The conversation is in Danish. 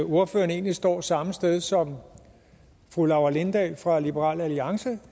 at ordføreren egentlig står samme sted som fru laura lindahl fra liberal alliance